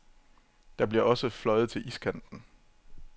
De bliver også fløjet til iskanten.